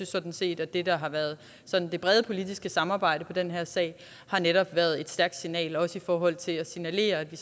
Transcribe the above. sådan set at det der har været det brede politiske samarbejde i den her sag netop har været et stærkt signal også i forhold til at signalere at vi